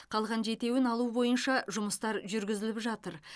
қалған жетеуін алу бойынша жұмыстар жүргізіліп жатыр